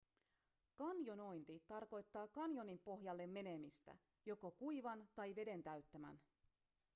kanjonointi tarkoittaa kanjonin pohjalle menemistä joko kuivan tai veden täyttämän